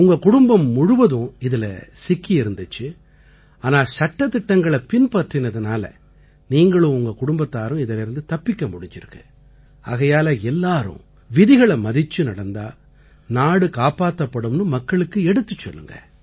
உங்க குடும்பம் முழுவதும் இதில சிக்கியிருந்திச்சு ஆனா சட்டதிட்டங்களைப் பின்பற்றினதால நீங்களும் உங்க குடும்பத்தாரும் இதிலேர்ந்து தப்பிக்க முடிஞ்சிருக்கு ஆகையால எல்லாரும் விதிகளை மதிச்சு நடந்தா நாடு காப்பாத்தப்படும்னு மக்களுக்கு எடுத்துச் சொல்லுங்க